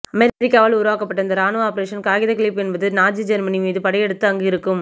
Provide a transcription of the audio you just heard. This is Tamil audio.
அமெரிக்காவல் உருவக்க்கபட்ட இந்த ராணுவ ஆபரேஷன் காகித கிளிப் என்பது நாஜி ஜெர்மனி மீது படையெடுத்து அங்கு இருக்கும்